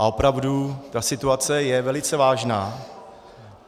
A opravdu ta situace je velice vážná.